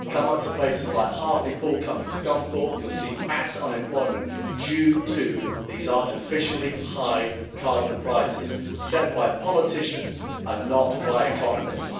Come up to places like Hartlepool, come to Scunthorpe, and you'll see mass unemployment due to these artificially high carbon prices set by politicians and not by economists.